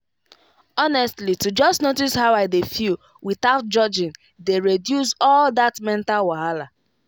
honestly to just notice how i dey feel without judging dey reduce all that mental wahala.